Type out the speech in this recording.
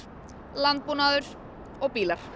landbúnaður og bílar